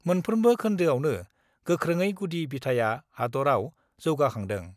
मोनफ्रोमबो खोन्दोआवनो गोख्रोङै गुदि बिथाया हादरआव जौगाखांदों।